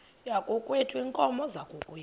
yakokwethu iinkomo zakokwethu